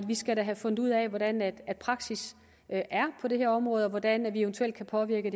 vi skal da have fundet ud af hvordan praksis er på det her område og hvordan vi eventuelt kan påvirke